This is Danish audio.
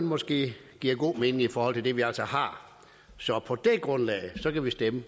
måske giver god mening i forhold til det vi altså har så på det grundlag kan vi stemme